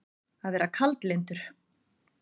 Að vera kaldlyndur